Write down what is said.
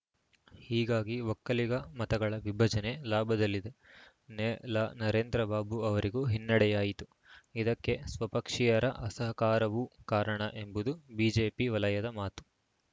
ಹೀಗಾಗಿ ಒಕ್ಕಲಿಗ ಮತಗಳ ವಿಭಜನೆ ಲಾಭದಲ್ಲಿದ್ದ ನೆಲ ನರೇಂದ್ರ ಬಾಬು ಅವರಿಗೂ ಹಿನ್ನಡೆಯಾಯಿತು ಇದಕ್ಕೆ ಸ್ವಪಕ್ಷೀಯರ ಅಸಹಕಾರವೂ ಕಾರಣ ಎಂಬುದು ಬಿಜೆಪಿ ವಲಯದ ಮಾತು